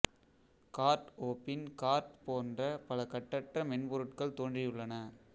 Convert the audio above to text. card OpenCart போன்ற பல கட்டற்ற மென்பொருட்கள் தோன்றி உள்ளன